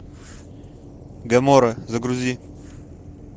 гамора загрузи